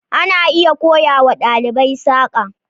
ana iya koya wa ɗalibai saƙa.